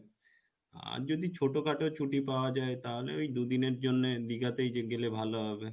আর যদি ছোটখাটো ছুটি পাওয়া যাই তাহলে ওই দুদিনের জন্যে দীঘা তেই যে গেলে ভালো হবে,